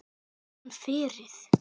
Ég fann frið.